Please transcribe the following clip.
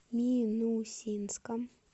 минусинском